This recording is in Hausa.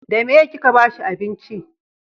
da meye ki ka bashi abinci?